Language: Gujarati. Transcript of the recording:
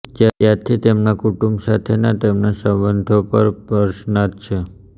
ત્યારથી તેમના કુટુંબ સાથેના તેમના સંબંધો પર પ્રશ્નાર્થ છે